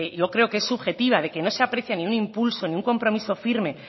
yo creo que es subjetiva de que no se aprecia ningún impulso ni un compromiso firme